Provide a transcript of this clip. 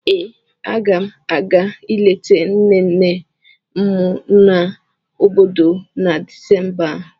Ee, aga m a ga-ileta nne nne m no n'obodo na Disemba a.